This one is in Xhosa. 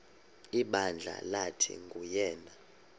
ibandla lathi nguyena